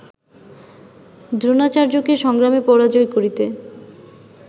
দ্রোণাচার্যকে সংগ্রামে পরাজয় করিতে